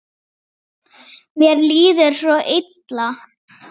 Mér líður svo illa